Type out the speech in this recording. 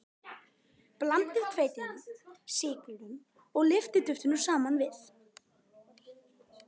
Blandið hveitinu, sykrinum og lyftiduftinu saman við.